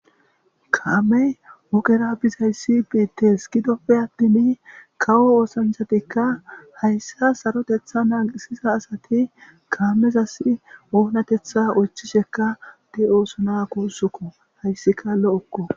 Kaame ogera bizayssi betes gidoppe attimi kawo oosanchatikka hayssa sarotetha naaqisiza asati kaamezas oonatetha oychisheka de oosona kuussukko hayssi kaalo'okko.